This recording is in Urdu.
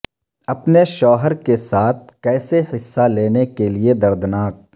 اپنے شوہر کے ساتھ کیسے حصہ لینے کے لئے دردناک